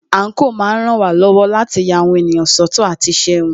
Àńkò máa ń ràn wá lọ́wọ́ láti lè ya àwọn ènìyàn sọ́tọ̀ àti iṣẹ́ wọn.